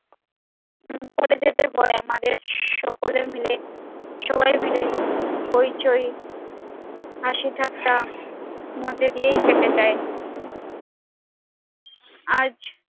করে যেতে হয় আমাদের সকলে মিলে সবাই মিলে হইচই হাসি ঠাট্টা মধ্য দিয়েই কেটে যায় আজ